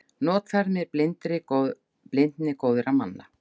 Notfærði mér blindni góðra manna.